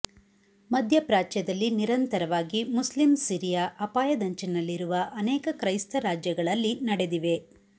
ಮಧ್ಯಪ್ರಾಚ್ಯದಲ್ಲಿ ನಿರಂತರವಾಗಿ Muslim Syria ಅಪಾಯದಂಚಿನಲ್ಲಿರುವ ಅನೇಕ ಕ್ರೈಸ್ತ ರಾಜ್ಯಗಳಲ್ಲಿ ನಡೆದಿವೆ